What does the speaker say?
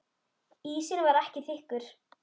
Ísinn var ekki þykkur.